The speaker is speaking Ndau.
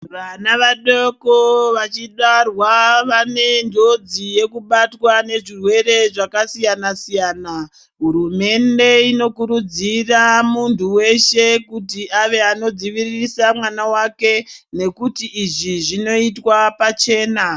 Vana vadoko vachibarwa vane njodzi yekubatwa nezvirwere zvakasiyanasiyana hurumende inokurudzira munhu wese kuti ave anodziviririsa mwana wake nekuti izvi zvinoitwa pachena.